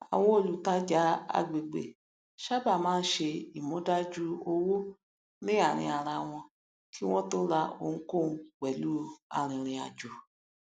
àwọn olùtàjà àgbègbè sábà máa ń ṣe ìmúdájú owó ní àárín ara wọn kí wọn tó ra ohunkóhun pẹlú arìnrìnàjò